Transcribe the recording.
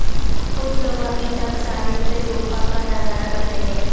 کچھ لوگ ابھی تک ساحل سے طوفاں کا نظارہ کرتے ہیں